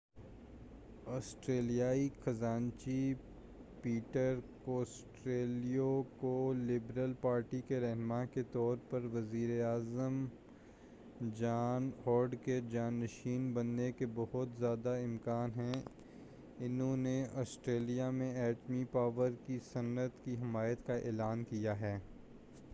آسٹریلیائی خزانچی Peter Costello کو liberal party کے رہنما کے طور پر وزیر اعظم جان ہاورڈ کے جاں نشیں بننے کے بہت زیادہ امکان ہیں انہوں نے آسٹریلیا میں ایٹمی پاور کی صنعت کی حمایت کا اعلان کیا ہے